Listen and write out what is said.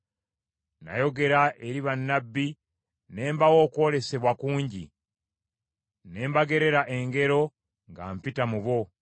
Nayogera eri bannabbi, ne mbawa okwolesebwa kungi, ne mbagerera engero nga mpita mu bo.